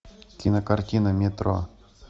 кинокартина метро